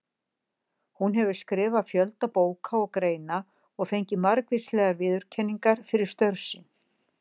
Hún hefur skrifað fjölda bóka og greina og fengið margvíslegar viðurkenningar fyrir störf sín.